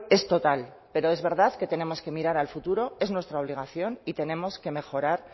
es total pero es verdad que tenemos que mirar al futuro es nuestra obligación y tenemos que mejorar